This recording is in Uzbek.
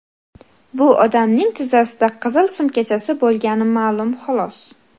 Bu odamning tizzasida qizil sumkachasi bo‘lgani ma’lum, xolos.